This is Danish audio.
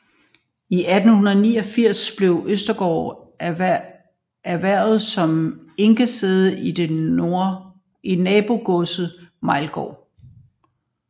I 1889 blev Østergaard erhvervet som enkesæde til nabogodset Meilgaard